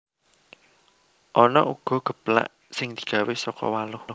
Ana uga geplak sing digawé saka waluh